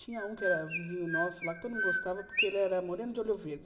Tinha um que era vizinho nosso lá, que todo mundo gostava, porque ele era moreno de olho verde.